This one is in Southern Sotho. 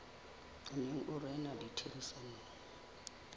o neng o rena ditherisanong